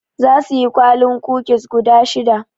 Zasu siyi kwalin kukis guda shida.